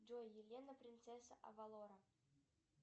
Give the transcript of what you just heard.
джой елена принцесса авалора